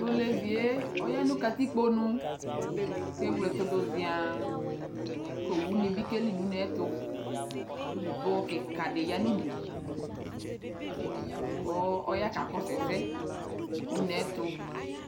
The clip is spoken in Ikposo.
Tʋ olevi yɛ oya nʋ katikpo nu kʋ ewle ɛtʋ dʋ zɩaa kʋ owunɩ bɩ keli nʋ une yɛ ɛtʋ kʋ dzipoxɔ kɩka dɩ ya nʋ udu kʋ ɔya kakɔsʋ ɛsɛ nʋ une yɛ ɛtʋ